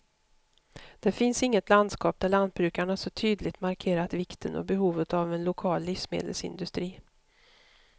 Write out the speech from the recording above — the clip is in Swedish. Det finns inget landskap där lantbrukarna så tydligt markerat vikten och behovet av en lokal livsmedelsindustri.